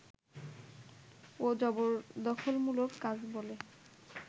ও জবরদখলমূলক কাজ বলে